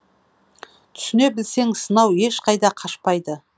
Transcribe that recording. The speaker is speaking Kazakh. түсіне білсең сынау ешқайда қашпайды